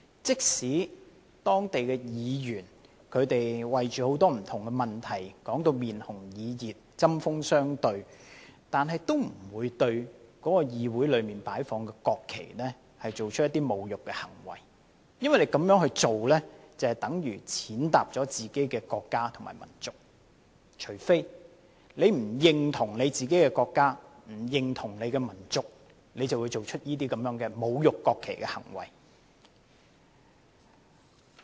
即使當地議員為很多不同議題吵得面紅耳熱，針鋒相對，但都不會對議會內擺放的國旗作出侮辱的行為，因為這樣做便等於踐踏自己的國家和民族——你不認同自己的國家和民族，才會做出這種侮辱國旗的行為。